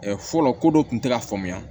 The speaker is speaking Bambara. fɔlɔ ko dɔ tun tɛ ka faamuya